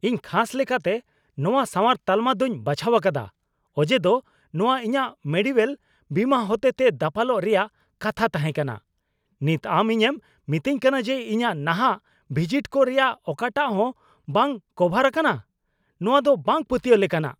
ᱤᱧ ᱠᱷᱟᱥ ᱞᱮᱠᱟᱛᱮ ᱱᱚᱶᱟ ᱥᱟᱶᱟᱨ ᱛᱟᱞᱢᱟ ᱫᱩᱧ ᱵᱟᱪᱷᱟᱣ ᱟᱠᱟᱫᱟ ᱚᱡᱮᱫᱚ ᱱᱚᱶᱟ ᱤᱧᱟᱹᱜ ᱢᱮᱰᱤᱣᱳᱭᱮᱞ ᱵᱤᱢᱟ ᱦᱚᱛᱮᱛᱮ ᱫᱟᱯᱟᱞᱚᱜ ᱨᱮᱭᱟᱜ ᱠᱟᱛᱷᱟ ᱛᱟᱦᱮᱸ ᱠᱟᱱᱟ ᱾ ᱱᱤᱛ ᱟᱢ ᱤᱧᱮᱢ ᱢᱤᱛᱟᱹᱧ ᱠᱟᱱᱟ ᱡᱮ ᱤᱧᱟᱹᱜ ᱱᱟᱦᱟᱜ ᱵᱷᱤᱡᱤᱴ ᱠᱚ ᱨᱮᱭᱟᱜ ᱚᱠᱟᱴᱟᱜ ᱦᱚᱸ ᱵᱟᱝ ᱠᱚᱵᱷᱟᱨ ᱟᱠᱟᱱᱟ ? ᱱᱚᱶᱟ ᱫᱚ ᱵᱟᱝ ᱯᱟᱹᱛᱭᱟᱹᱣ ᱞᱮᱠᱟᱱᱟᱜ !